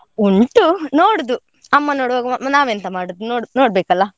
ಉಂಟು ನೋಡುದು, ಅಮ್ಮ ನೋಡ್ವಾಗ ನಾವೆಂತ ಮಾಡೋದು ನೋಡ್~ ನೋಡ್ಬೇಕಲ್ಲ?